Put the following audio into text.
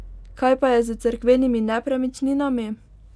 Kaj pa je s cerkvenimi nepremičninami?